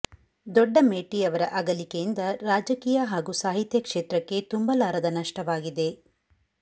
ದೊಡ್ಡಮೇಟಿ ಅವರ ಅಗಲಿಕೆಯಿಂದ ರಾಜಕೀಯ ಹಾಗೂ ಸಾಹಿತ್ಯ ಕ್ಷೇತ್ರಕ್ಕೆ ತುಂಬಲಾರದ ನಷ್ಟವಾಗಿದೆ